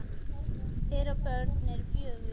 Þeirra börn eru fjögur.